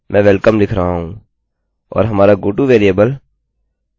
और हमारा goto variable variable google dot com है